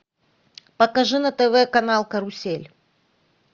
покажи на тв канал карусель